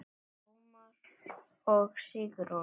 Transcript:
Ómar og Sigrún.